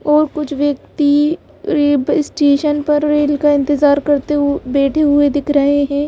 और कुछ व्यक्ति स्टेशन पर रेल का इंतजार करते हुए बैठे हुए दिख रहे हैं।